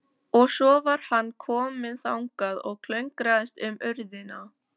Og svo var hann kominn þangað og klöngraðist um urðina.